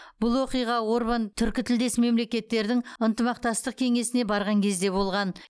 бұл оқиға орбан түркітілдес мемлекеттердің ынтымақтастық кеңесіне барған кезде болған